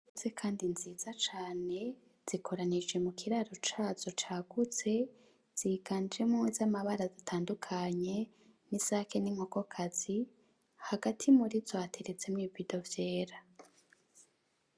Inkoko zikuze kandi nziza cane, zikoranije mu kiraro cazo cagutse, ziganjemwo iz'amabara atandukanye, n'isake n'inkokokazi, hagati muri zo hateretsemwo ibibido vyera.